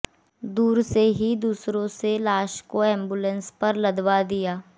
दूर से ही दूसरों से लाश को एंबुलेंस पर लदवा दिया